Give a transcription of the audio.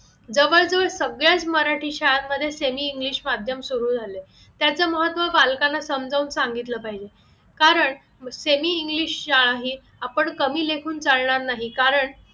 जवळजवळ सगळ्याच मराठी शाळांमध्ये semi english माध्यम सुरू झाले त्याचे महत्त्व बालकांना समजावून सांगितलं पाहिजे कारण semi english शाळांनी आपण कमी लेखून चालणार नाही कारण